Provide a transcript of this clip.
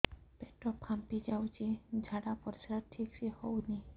ପେଟ ଫାମ୍ପି ଯାଉଛି ଝାଡ଼ା ପରିସ୍ରା ଠିକ ସେ ହଉନି